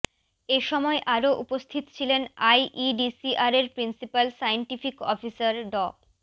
এ সময় আরও উপস্থিত ছিলেন আইইডিসিআরের প্রিন্সিপাল সাইন্টিফিক অফিসার ড